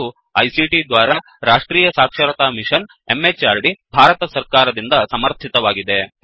ಇದು ಐಸಿಟಿ ದ್ವಾರಾ ರಾಷ್ಟ್ರೀಯ ಸಾಕ್ಷರತಾ ಮಿಶನ್ ಎಂಎಚಆರ್ಡಿ ಭಾರತ ಸರ್ಕಾರ ದಿಂದ ಸಮರ್ಥಿತವಾಗಿದೆ